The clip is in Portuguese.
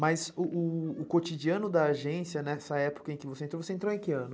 Mas o cotidiano da agência nessa época em que você entrou, você entrou em que ano?